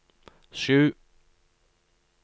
sju